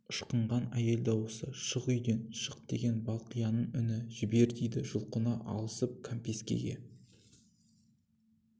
ышқынған әйел дауысы шық үйден шық деген балқияның үні жібер дейді жұлқына алысып кәмпескеге